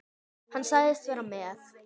Hann sagðist vera með